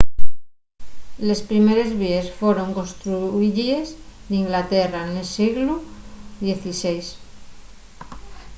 les primeres víes foron construyíes n'inglaterra nel sieglu xvi